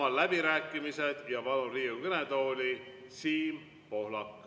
Avan läbirääkimised ja palun Riigikogu kõnetooli Siim Pohlaku.